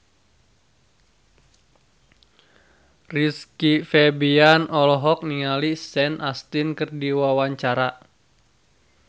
Rizky Febian olohok ningali Sean Astin keur diwawancara